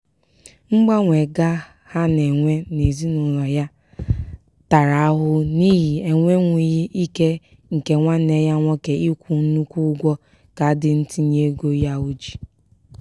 mgbanwe ga ha na-enwe n'ezinaụlọ ya tara ahụhụ n'ihi enwenwughi ike nke nwanne ya nwoke ịkwụ nnukwu ụgwọ kaadị ntinyeego ya o ji.